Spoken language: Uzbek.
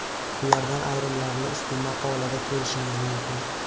Ulardan ayrimlarini ushbu maqola da ko‘rishingiz mumkin.